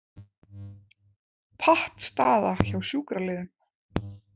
Pattstaða hjá sjúkraliðum